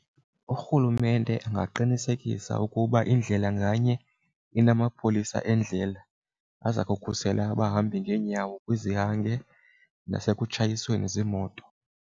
Urhulumente angaqinisekisa ukuba indlela nganye inamapolisa endlela aza kukhusela abahambi ngeenyawo kwizihange nasekutshatweni ziimoto.